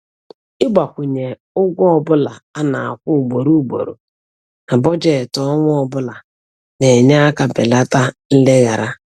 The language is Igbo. Ịgbakwụnye ụgwọ ọbụla a na-akwụ ugboro ugboro na bọjetị ọnwa ọbụla na-enye aka belata nleghara